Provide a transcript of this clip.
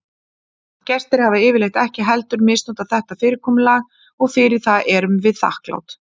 Gestir hafa yfirleitt ekki heldur misnotað þetta fyrirkomulag og fyrir það erum við þakklát.